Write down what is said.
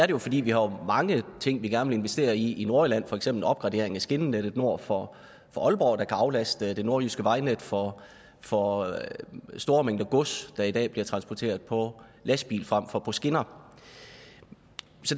jo fordi vi har mange ting vi gerne ville investere i i nordjylland for eksempel en opgradering af skinnenettet nord for aalborg der kan aflaste det nordjyske vejnet for for store mængder gods der i dag bliver transporteret på lastbil frem for på skinner